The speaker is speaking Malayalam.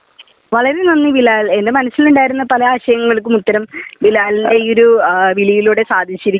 വളരെ നന്ദി ബിലാൽ എന്റെ മനസ്സിൽ ഉണ്ടായിരുന്ന പല ആശയങ്ങൾക്കും ഉത്തരം ബിലാലിന്റെ ഈ ഒരു വിളിയിലൂടെ സാധിച്ചിരിക്കുകയാണ്